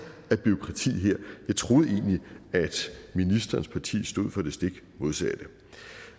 af bureaukrati her jeg troede egentlig at ministerens parti stod for det stik modsatte